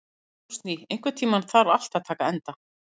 Rósný, einhvern tímann þarf allt að taka enda.